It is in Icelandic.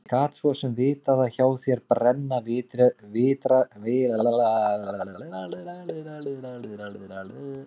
Ég gat svo sem vitað að hjá þér brenna vitarnir ennþá og eilíflega